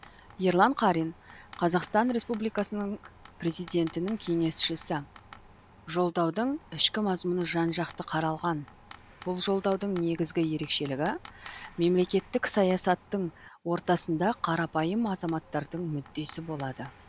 ерлан қарин қазақстан республикасының президентінің кеңесшісі жолдаудың ішкі мазмұны жан жақты қаралған бұл жолдаудың негізгі ерекшелігі мемлекеттік саясаттың ортасында қарапайым азаматтардың мүддесі болады